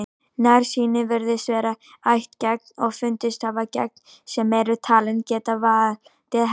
Nærsýni virðist vera ættgeng og fundist hafa gen sem eru talin geta valdið henni.